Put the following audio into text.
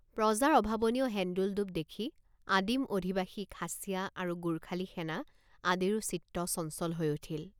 প্ৰজাৰ অভাৱনীয় হেন্দোলদোপ দেখি আদিম অধিবাসী খাচীয়া আৰু গোৰ্খালী সেনা আদিৰো চিত্ত চঞ্চল হৈ উঠিল।